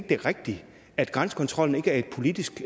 det er rigtigt at grænsekontrollen ikke er et politisk